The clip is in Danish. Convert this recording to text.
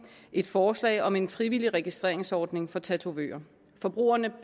et forslag om en frivillig registreringsordning for tatovører forbrugerne